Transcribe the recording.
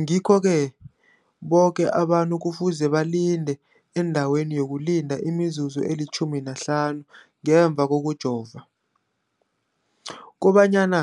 Ngikho-ke boke abantu kufuze balinde endaweni yokulinda imizuzu eli-15 ngemva kokujova, koba nyana